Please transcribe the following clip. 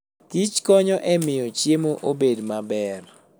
kichkonyo e miyo chiemo obed maber.